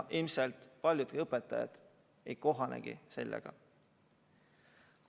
Ilmselt paljud õpetajad ei kohanegi sellega.